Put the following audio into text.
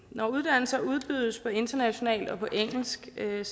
når uddannelser udbydes internationalt og på engelsk er